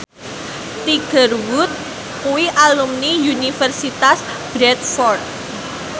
Tiger Wood kuwi alumni Universitas Bradford